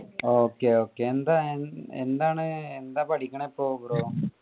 okay okay എന്താണ് ഇപ്പൊ എന്താണ് എന്താ പഠിക്കണെ ഇപ്പൊ bro